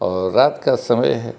और रात का समय है।